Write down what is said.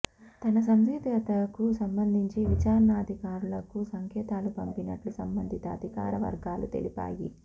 తన సంసిద్ధతకు సంబంధించి విచారణాధికారులకు సంకేతాలు పంపినట్లు సంబంధిత అధికార వర్గాలు తెలిపాయి